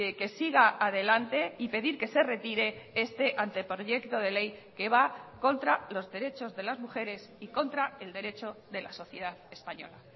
que siga adelante y pedir que se retire este anteproyecto de ley que va contra los derechos de las mujeres y contra el derecho de la sociedad española